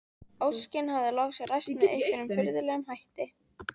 Óskin hafði loks ræst með einhverjum furðulegum hætti.